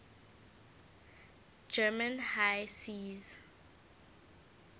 german high seas